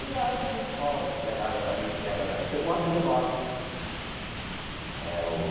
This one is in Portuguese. E lá o pessoal pega água dali, pega da... Chegou um amigo nosso é o.